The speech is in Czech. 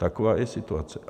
Taková je situace.